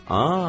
Aa!